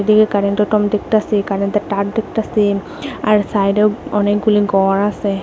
ওইদিকে কারেন্টের দেখতাসি কারেন্টের তার দেখতাসি আর সাইডেও অনেকগুলি গর আছে।